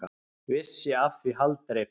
Vissi af því haldreipi.